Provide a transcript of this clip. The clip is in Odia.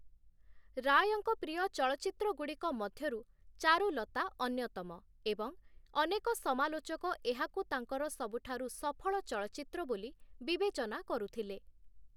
ରାୟଙ୍କ ପ୍ରିୟ ଚଳଚ୍ଚିତ୍ରଗୁଡ଼ିକ ମଧ୍ୟରୁ 'ଚାରୁଲତା' ଅନ୍ୟତମ ଏବଂ ଅନେକ ସମାଲୋଚକ ଏହାକୁ ତାଙ୍କର ସବୁଠାରୁ ସଫଳ ଚଳଚ୍ଚିତ୍ର ବୋଲି ବିବେଚନା କରୁଥିଲେ ।